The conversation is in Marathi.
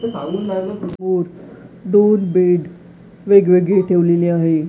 दोन बेड वेगळेवेगळे ठेवलेले आहे.